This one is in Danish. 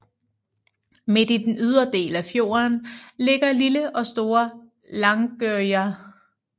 Midt i den ydre del af fjorden ligger lille og store Langøya